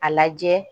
A lajɛ